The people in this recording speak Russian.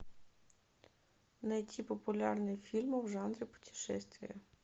найти популярные фильмы в жанре путешествия